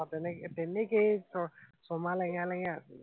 আহ তেনেকে, তেনেকেই ছ ছমাহ লেঙেৰাই লেঙেৰাই আছো।